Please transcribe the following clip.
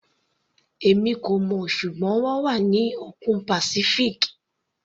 Èmi kò mọ̀, ṣùgbọ́n wọ́n wà ní òkun Pacific.